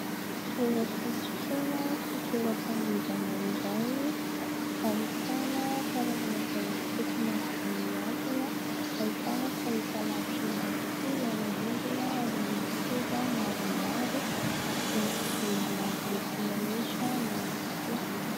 Toeram-pisotroina sy toeram-pandihizana iray ahitana karazana zava-pisotro maro be mihantona, ahitana fahitalavitra ihany koa eo amin'ny rindrina ary misy seza maromaro, misy jiro maroloko mirehitra ihany koa.